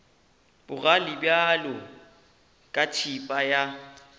bogale bjalo ka thipa ya